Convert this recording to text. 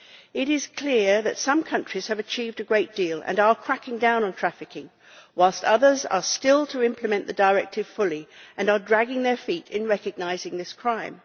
It is clear that some countries have achieved a great deal and are cracking down on trafficking, whilst others have still to implement the directive fully and are dragging their feet in recognising this crime.